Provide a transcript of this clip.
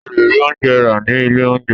O le rí oúnjẹ rà ní ilé oúnjẹ.